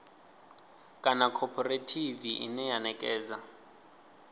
kana khophorethivi ine ya ṋekedza